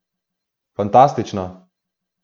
Fantastično!